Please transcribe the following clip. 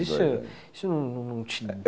Isso não te encheu a bola?